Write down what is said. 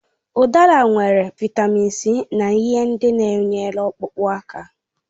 Udara nwere Vị́tamị́n C na ihe ndị na enwere ọkpụkpụ aka